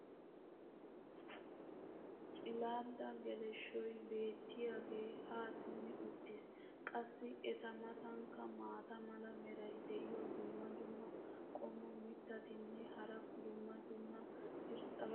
cilaada geleshshoy beetiyaagee haa simmi uttiis. qassi eta matankka maata mala meray diyo dumma dumma qommo mitattinne hara dumma dumma irxxabati de'oosona.